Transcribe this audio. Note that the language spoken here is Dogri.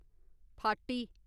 फार्टी